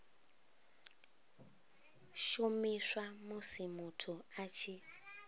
shumiswa musi muthu a tshi